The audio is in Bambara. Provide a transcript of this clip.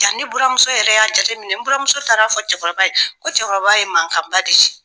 Ja ne buramuso yɛrɛ y'a jate minɛ , ne buramuso taar' fɔ cɛkɔrɔba ye fɔ cɛkɔrɔba ye mankanba de ci.